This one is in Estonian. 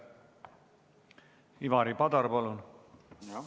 Ivari Padar, palun!